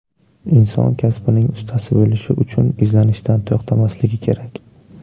Inson kasbining ustasi bo‘lishi uchun izlanishdan to‘xtamasligi kerak.